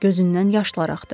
Gözündən yaşlar axdı.